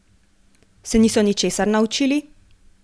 Se niso ničesar naučili?